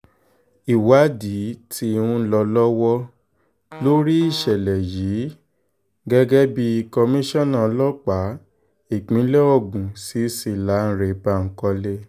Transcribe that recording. ìwádìí tí ń lọ lọ́wọ́ lórí ìṣẹ̀lẹ̀ yìí gẹ́gẹ́ bí komisanna ọlọ́pàá ìpínlẹ̀ ogun cc lánre bankole